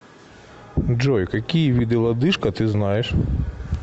джой какие виды лодыжка ты знаешь